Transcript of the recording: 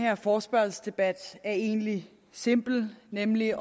her forespørgselsdebat er egentlig simpel nemlig